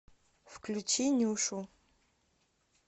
включи нюшу